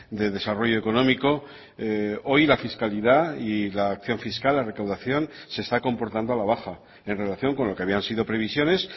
de desarrollo económico hoy la fiscalidad y la acción fiscal la recaudación se está comportando a la baja en relación con lo que habían sido previsiones